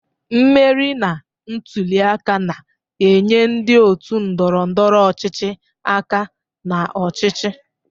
Mmeri na ntuli aka na-enye ndị otu ndọrọ ndọrọ ọchịchị aka na ọchịchị.